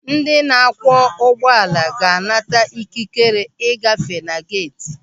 Ndị na-akwọ ụgbọala ga-anata ikikere ị gafee na-geeti.